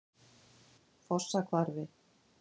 Fossahvarfi